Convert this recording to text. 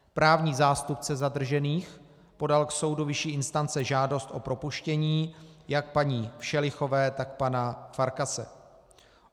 Právní zástupce zadržených podal k soudu vyšší instance žádost o propuštění jak paní Všelichové, tak pana Farkase.